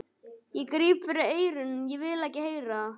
Ég gríp fyrir eyrun, ég vil ekki heyra það!